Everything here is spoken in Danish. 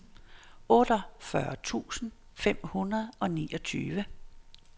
otteogfyrre tusind fem hundrede og niogtyve